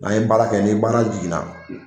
N'an ye baara kɛ ni baara jiginna.